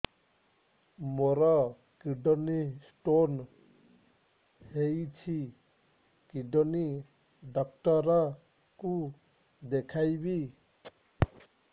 ମୋର kidney stone ହେଇଛି kidney doctor କୁ ଦେଖାଇବି